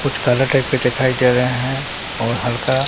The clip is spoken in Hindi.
कुछ कलर टाइप का देखाई दे रहे है और हल्का--